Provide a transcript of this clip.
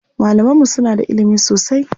Malaman mu suna da ilimi sosai.